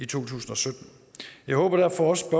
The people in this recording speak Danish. tusind og sytten jeg håber derfor også at